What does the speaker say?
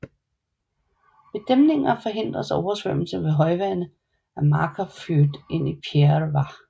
Ved dæmninger forhindres oversvømmelse ved højvande af Markarfljót ind i Þverá